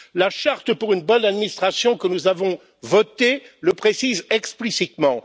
La charte pour une bonne administration, que nous avons votée, le précise explicitement.